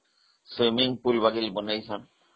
swiming pool ବନେଇଛନ୍ତି